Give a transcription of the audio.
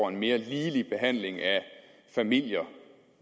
en mere ligelig behandling af familier